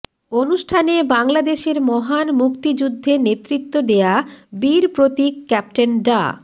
অনুষ্ঠানে বাংলাদেশের মহান মুক্তিযুদ্ধে নেতৃত্ব দেয়া বীরপ্রতীক ক্যাপ্টেন ডা